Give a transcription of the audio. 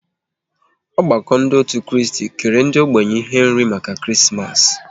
Ọgbakọ ndị otu Kristi kere ndị ógbènye ihe nri maka Krismas